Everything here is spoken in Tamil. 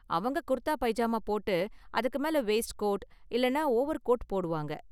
அவங்க குர்தா பைஜாமா போட்டு அதுக்கு மேல வெய்ஸ்ட் கோட் இல்லனா ஓவர்கோட் போடுவாங்க